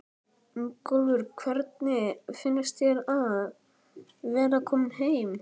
Ingólfur: Hvernig finnst þér að vera kominn heim?